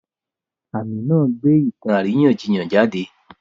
Àmì náà gbé ìtàn àríyànjiyàn jáde.